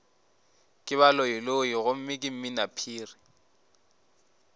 ke baloiloi gomme ke mminaphiri